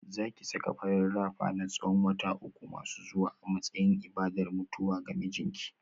Za ki saka farin rapper na tsawon wata uku masu zuwa a matsayin ibadar mutuwa ga mijinki